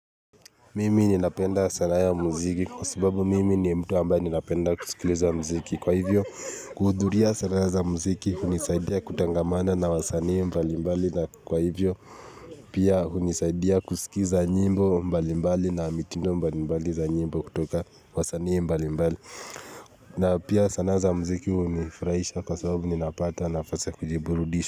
Mimi ninapenda sanaa ya mziki kwa sababu mimi ni mtu ambaye ninapenda kusikileza mziki kwa hivyo kuhudhuria sanaa za mziki hunisaidia kutangamana na wasanii mbalimbali na kwa hivyo pia hunisaidia kusikiza nyimbo mbalimbali na mitindo mbalimbali za nyimbo kutoka wasanii mbalimbali na pia sanaa za mziki hunifurahisha kwa sababu ninapata nafasa ya kujiburudisha.